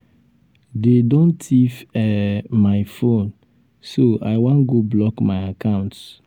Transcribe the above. dey don thief um my phone um so i wan go block my accounts.